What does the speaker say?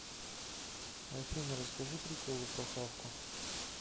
афина расскажи приколы про хавку